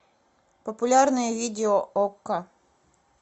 популярные видео окко